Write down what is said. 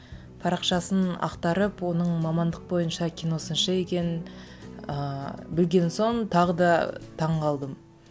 парақшасын ақтарып оның мамандық бойынша кино сыншы екенін ыыы білген соң тағы да таң қалдым